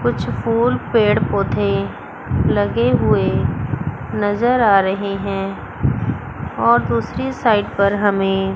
कुछ फूल पेड़ पौधे लगे हुए नजर आ रहे हैं और दूसरी साइड पर हमें--